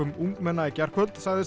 ungmenna í gærkvöld segist